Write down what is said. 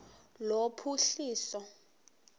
lophuhliso